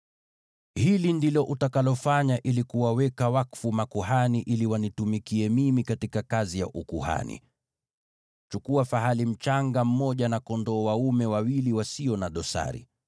“Hili ndilo utakalofanya ili kuwaweka wakfu makuhani ili wanitumikie mimi katika kazi ya ukuhani: Chukua fahali mchanga mmoja na kondoo dume wawili wasio na dosari.